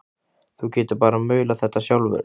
Þú getur bara maulað þetta sjálfur!